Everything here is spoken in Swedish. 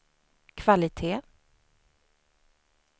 kvalitet